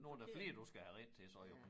Nu der flere du skal have ringet til så jo